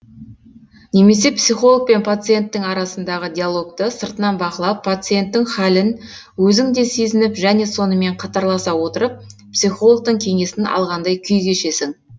немесе психолог пен пациенттің арасындағы диалогты сыртынан бақылап пациенттің хәлін өзің де сезініп және сонымен қатарласа отырып психологтың кеңесін алғандай күй кешесің